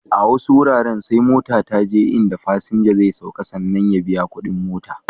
A wasu wuraren sai mota ta je in da fasinja zai sauka sannan ya biya kuɗin mota.